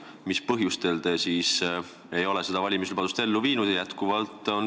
Mis põhjustel te siis ei ole seda valimislubadust ellu viinud?